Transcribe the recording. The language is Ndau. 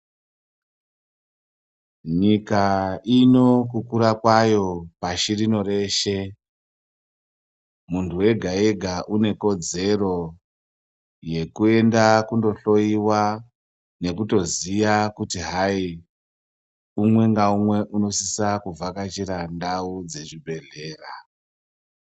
Nyika ino kukura kwayo pashi rino reshe, muntu wega wega une kodzero yekuenda kundohloyiwa nekutoziya kuti hai umwe ngaumwe unosisa kuvhakachira ndau dzezvibhehlera.